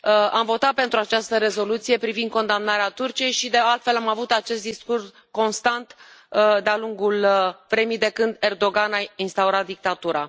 Am votat pentru această rezoluție privind condamnarea Turciei și, de altfel, am avut acest discurs, constant, de a lungul vremii, de când Erdogan a instaurat dictatura.